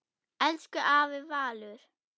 Elsku afi Valur.